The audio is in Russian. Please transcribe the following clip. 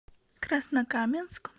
краснокаменск